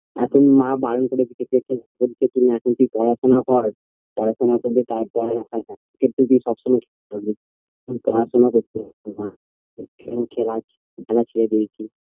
এখন মা বারন করেছে ক্রিকেট খেলতে এখন তুই পড়াশোনা কর পড়াশোনা করলে তারপরে ক্রিকেট তো তুই সবসময়ই খেলতে পারবি শুধু পড়াশোনা করতে না তাই খেলা খেলা ছেড়ে দিয়েছি